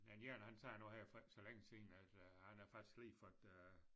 Den ene han sagde noget her for ikke så længe siden at øh han havde faktisk lige fået øh